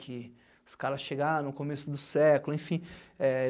Que os caras chegaram no começo do século, enfim. É